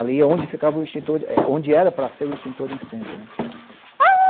Ali é onde ficava o extintor, eh onde era para ser o extintor de incêndio, né.